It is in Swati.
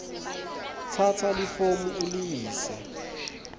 tsatsa lifomu uliyise